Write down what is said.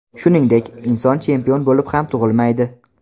Shuningdek, inson chempion bo‘lib ham tug‘ilmaydi.